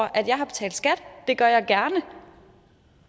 at jeg har betalt skat det gør jeg gerne